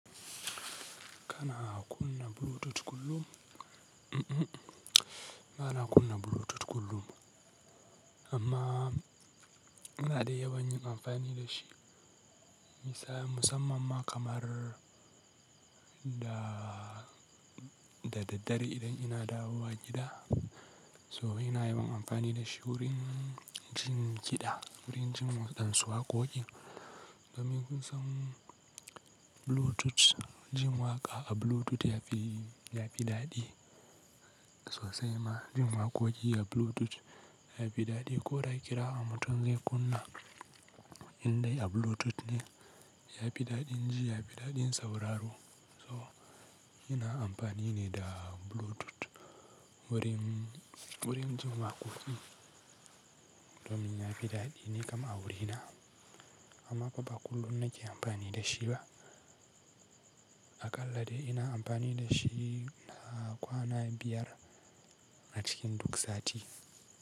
Kana kunna Bluetooth kullum? Ba na kunna Bluetooth kullum ba, amma ina dai yawan yin amfani da shi. Misali musamman ma kamar da, da daddare idan ina dawowa gida, so ina yawan amfani da shi wurin jin kiɗa, wurin jin waɗansu waƙoƙi. Domin kusan Bluetooth, jin waƙa a Bluetooth ya fi, ya fi daɗi sosai ma. Jin waƙoƙi a Bluetooth ya fi daɗi. Ko da ƙira a motar zan kunna indai a Bluetooth ne. Ya fi daɗin ji, ya fi daɗin sauraro. So ina amfani ne da Bluetooth wurin, wurin jin waƙoƙi domin ya fi daɗi ne kamar a wurina. Amma ba kullum na ke amfani da shi ba. Aƙalla dai ina amfani da shi na kwana biyar a cikin duk sati.